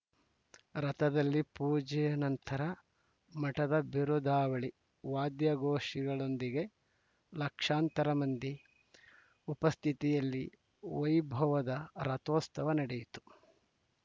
ರಥದಲ್ಲಿ ಪೂಜೆ ನಂತರ ಮಠದ ಬಿರುದಾವಳಿ ವಾಧ್ಯಘೋಷಿಗಳೊಂದಿಗೆ ಲಕ್ಷಾಂತರ ಮಂದಿ ಉಪಸ್ಥಿತಿಯಲ್ಲಿ ವೈಭವದ ರಥೋತ್ಸವ ನಡೆಯಿತು